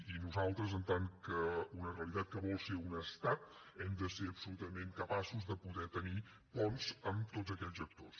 i nosaltres en tant que una realitat que vol ser un estat hem de ser absolutament capaços de poder tenir ponts amb tots aquells actors